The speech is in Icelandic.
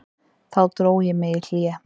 Þá dró ég mig í hlé.